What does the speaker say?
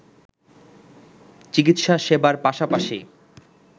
চিকিৎসা সেবার পাশাপাশি